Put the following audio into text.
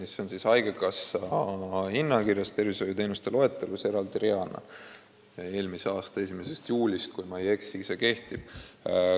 See on haigekassa hinnakirjas tervishoiuteenuste loetelus eraldi reana, kui ma ei eksi, siis kehtib see eelmise aasta 1. juulist.